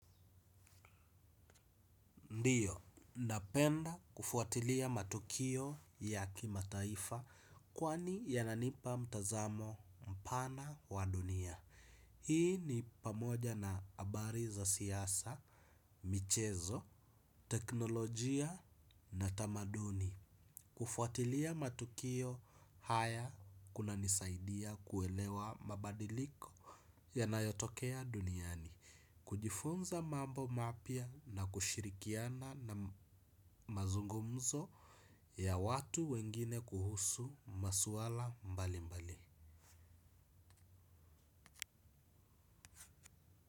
Ndiyo, napenda kufuatilia matukio ya kimataifa kwani yananipa mtazamo mpana wa dunia. Hii ni pamoja na habari za siasa, michezo, teknolojia na tamaduni. Kufuatilia matukio haya kunanisaidia kuelewa mabadiliko yanayotokea duniani kujifunza mambo mapya na kushirikiana mazungumzo ya watu wengine kuhusu maswala mbalimbali.